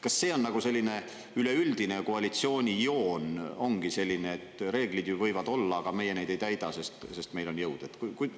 Kas see on selline üleüldine koalitsiooni joon, ongi selline, et reeglid võivad olla, aga meie neid ei täida, sest meil on jõud.